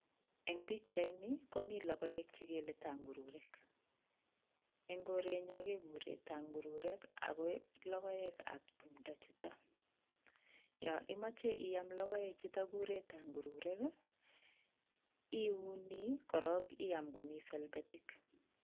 Eng' pichaini komi logoek chegele tangururek. ing' koretnyo kegure tangururek akologoek ap tumdo chuutok. ya imeche iam logoekchutok kigure tangururek iiuni korok iyam komi selbetik